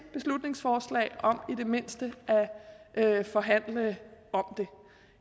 beslutningsforslag om i det mindste at forhandle om det